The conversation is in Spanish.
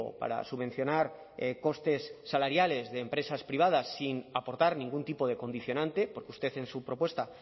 para subvencionar costes salariales de empresas privadas sin aportar ningún tipo de condicionante porque usted en su propuesta